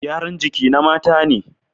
Gyaran jiki na mata ne